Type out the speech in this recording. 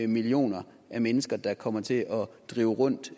millioner mennesker der kommer til at drive rundt